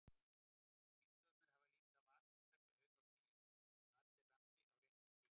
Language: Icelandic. Bílstjórarnir hafa líka vakandi auga á því að allir rambi á réttan bíl.